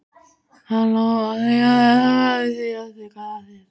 Hann lofar því að þetta verði síðasta glasið.